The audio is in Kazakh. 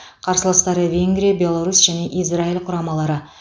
қарсыластары венгрия беларусь және израиль құрамалары